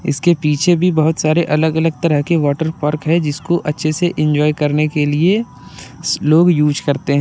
इसके पीछे भी बहुत सारे अलग अलग तरह के वाटर पार्क जिसको अच्छे से इंज्वॉय करने के लिए लोग यूज करते हैं।